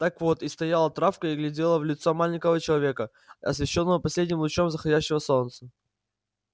так вот и стояла травка и глядела в лицо маленького человека освещённого последним лучом заходящего солнца